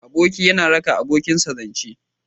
Aboki yana raka abokinsa zance.